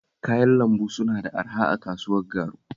Kayan lambu suna da araha a kasuwar Garu